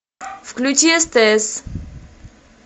включи стс